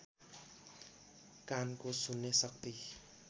कानको सुन्ने शक्ति